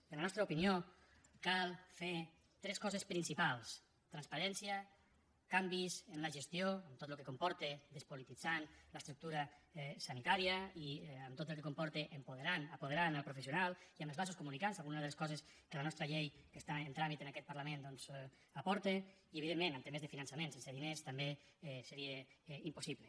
i en la nostra opinió cal fer tres coses principals transparència canvis en la gestió amb tot el que comporta despolititzant l’estructura sanitària i amb tot el que comporta apoderant el professional i amb els vasos comunicants algunes de les coses que la nostra llei que està en tràmit en aquest parlament doncs aporta i evidentment amb temes de finançament sense diners també seria impossible